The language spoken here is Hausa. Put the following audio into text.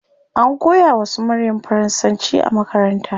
An koya wa su maryam faransanci a makaranta